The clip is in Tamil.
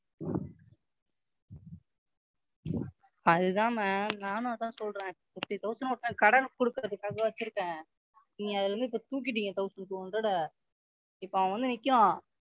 அதுதான் Ma'am நானும் அதான் சொல்றேன். Fifty thousand ஒருத்தனுக்கு கடன் கொடுக்குறதுக்காக வெச்சுருந்தேன். நீங்க அதுல இருந்து இப்ப தூக்கிட்டீங்க Thousand two hundred ஐ இப்ப அவன் வந்து நிக்கிறான்,